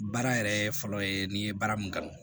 Baara yɛrɛ fɔlɔ ye n'i ye baara mun kanu